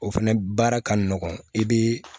O fɛnɛ baara ka nɔgɔn i bɛ